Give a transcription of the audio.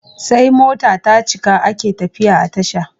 Sai mota tacika ake tafiya a tasha